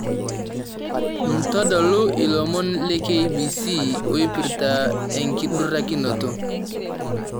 ntodolu ilomon le k.b.c oipirta enkidurakinoto